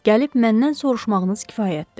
Gəlib məndən soruşmağınız kifayətdir.